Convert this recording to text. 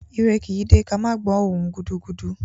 Ire kì í dé ká má gbọ̀ọ́ ohùn-un gudugudu